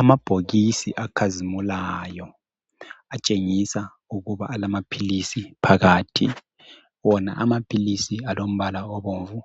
Amabhokisi acazimulayo atshengisa ukuba alama philisi phakathi wona amaphilisi alombala obomvu